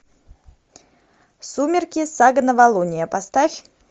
сумерки сага новолуние поставь